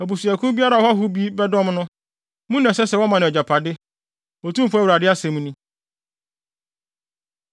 Abusuakuw biara a ɔhɔho bi bɛdɔm no, mu na ɛsɛ sɛ wɔma no nʼagyapade,” Otumfo Awurade asɛm ni.